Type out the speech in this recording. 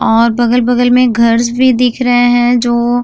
और बगल-बगल में घर्स भी दिख रहे हैं जो --